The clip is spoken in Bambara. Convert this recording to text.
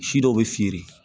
Si dɔw bɛ feere